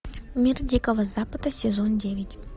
мир дикого запада сезон девять